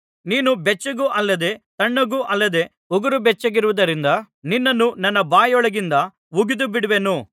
ನೀನು ಬೆಚ್ಚಗೂ ಅಲ್ಲದೆ ತಣ್ಣಗೂ ಅಲ್ಲದೆ ಉಗುರು ಬೆಚ್ಚಗಿರುವುದರಿಂದ ನಿನ್ನನ್ನು ನನ್ನ ಬಾಯೊಳಗಿಂದ ಉಗಿದು ಬಿಡುವೆನು